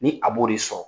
Ni a b'o de sɔrɔ